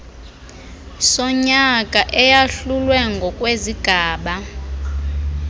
sonyaka eyahlulwe ngokwezigaba